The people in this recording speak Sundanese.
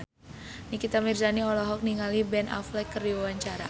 Nikita Mirzani olohok ningali Ben Affleck keur diwawancara